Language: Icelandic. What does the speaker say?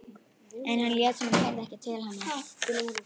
En hann lét sem hann heyrði ekki til hennar.